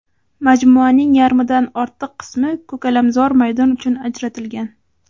Majmuaning yarmidan ortiq qismi ko‘kalamzor maydon uchun ajratilgan.